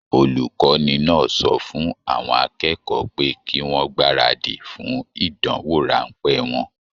Olukọni náà sọ fún àwọn akẹ́kọ̀ọ́ pé kí wọn gbaradi fún ìdánwò ránpẹ́ wọn.